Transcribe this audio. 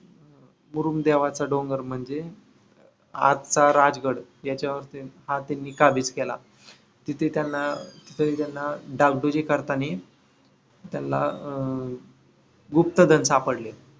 मुरूम देवाचा डोंगर म्हणजे आजचा राजगढ हयाच्यावर हा त्यांनी काबिज केला. तिथे त्यांना तिथे ही त्यांना डागडुजी करतानी त्यांना अं गुप्त धन सापडले.